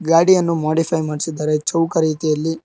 ಗಾಡಿಯನ್ನು ಮೋಡಿಫ್ಯ್ ಮಾಡಿಸಿದ್ದಾರೆ ಚೌಕ ರೀತಿಯಲ್ಲಿ.